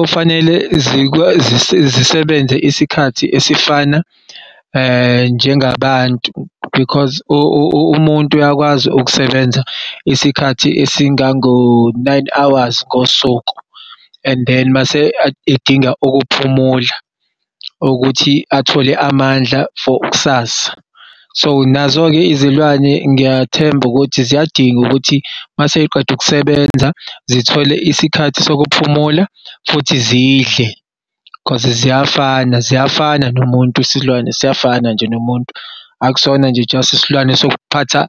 Ofanele zisebenze isikhathi esifana njengabantu because umuntu uyakwazi ukusebenza isikhathi esingango-nine hours ngosuku and then mase adinga ukuphumula ukuthi athole amandla for kusasa. So, nazo-ke izilwane ngiyathemba ukuthi ziyadinga ukuthi maseziqede ukusebenza zithole isikhathi sokuphumula futhi zidle cause ziyafana, ziyafana nomuntu isilwane siyafana nje nomuntu. Akusona nje just isilwane sokuphatha